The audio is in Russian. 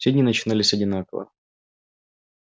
все дни начинались одинаково